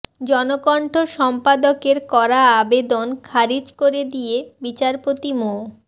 জনকণ্ঠ সম্পাদকের করা আবেদন খারিজ করে দিয়ে বিচারপতি মো